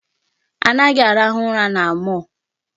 A naghị arahụ ụra na mall.